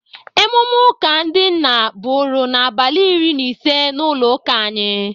Emume ụka ndị nna bụrụ n'abalị iri na ise n'ụlọ ụka anyị.